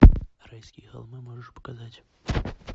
райские холмы можешь показать